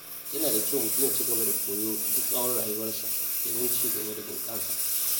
Yana da kyau mutum ya ci gaba da koyo duk tsawon rayuwarsa domin cigaba da bunƙasa.